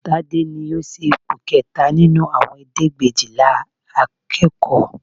Tade ni ó ṣe ipò kẹta nínú àwọn ẹ̀ẹ́dẹ́gbẹ̀éjìlá akẹ́kọ̀ọ́